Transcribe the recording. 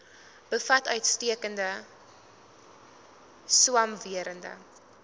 bevat uitstekende swamwerende